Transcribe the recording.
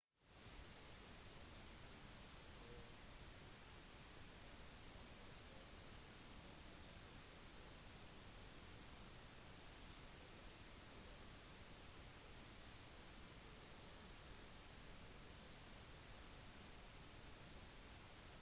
lenge antok man på 1800- og 1900-tallet at de første innbyggerne i new zealand var maori-folket som jaktet på kjempefugler som het moaer